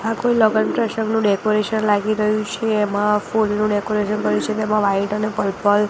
આ કોઈ લગન પ્રસંગનું ડેકોરેશન લાગી રહ્યુ છે એમા ફુલનુ ડેકોરેશન કર્યુ છે તેમા વ્હાઇટ અને પર્પલ --